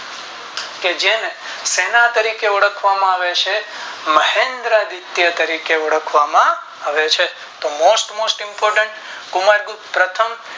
તો જેને શેના તરીકે ઓળખવામાં આવે છે મહેન્દ્રા તરીકે ઓળખવામાં આવે છે તો Most most important Kumar Gupta પ્રથમ